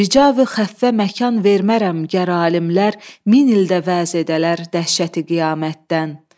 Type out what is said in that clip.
Rica və xəffə məkan vermərəm, gər alimlər min ildə vəz edələr dəhşəti qiyamətdən.